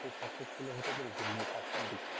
সেই successfully হতে পেরেছি মানে এই কাজটার দিকে।